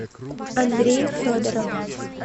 андрей федоров